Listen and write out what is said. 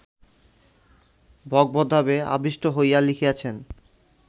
ভগবদ্ভাবে আবিষ্ট হইয়া লিখিয়াছেন